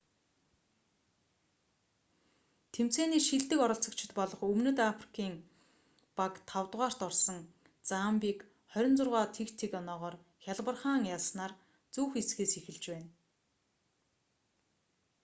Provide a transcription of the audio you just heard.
тэмцээний шилдэг оролцогчидб олох өмнөд африкийн баг 5-рт орсон замбийг 26 - 00 оноогоор хялбархан ялсанаар зөв хэсгээс эхэлж байна